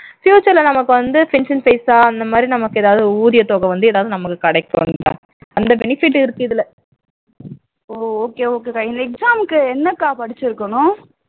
future ல நமக்கு வந்து pension பைசாஅந்த மாதிரி நமக்கு எதாவது ஊதியத்தொகை வந்து நமக்கு கிடைக்கும் கவிதா